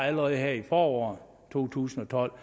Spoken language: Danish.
allerede her i foråret to tusind og tolv